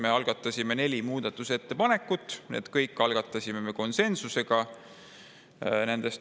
Me algatasime neli muudatusettepanekut, need kõik algatati konsensusega.